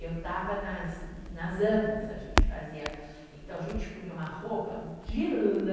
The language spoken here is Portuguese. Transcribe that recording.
Eu estava nas nas amas, a gente fazia, então, a gente punha uma roupa de lã,